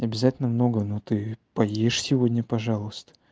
обязательно много но ты поешь сегодня пожалуйста